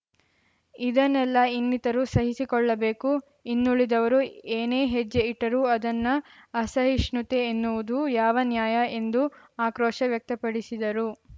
ಇದನ್ನೆಲ್ಲಾ ಇನ್ನಿತರು ಸಹಿಸಿಕೊಳ್ಳಬೇಕು ಇನ್ನುಳಿದವರು ಏನೇ ಹೆಜ್ಜೆ ಇಟ್ಟರೂ ಅದನ್ನ ಅಸಹಿಷ್ಣುತೆ ಎನ್ನುವುದು ಯಾವ ನ್ಯಾಯ ಎಂದು ಆಕ್ರೋಶ ವ್ಯಕ್ತಪಡಿಸಿದರು